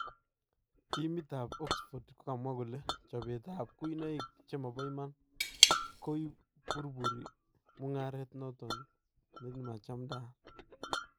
Timit ab Oxford kokamwaa kole chopeet ab kuinoik chemabo iman " kuburburii mung'aret noton nemachamdaat "